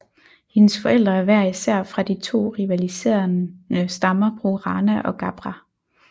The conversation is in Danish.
Hendes forældre er hver især fra de to rivaliserende stammer Borana og Gabbra